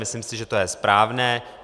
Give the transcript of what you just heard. Myslím si, že to je správné.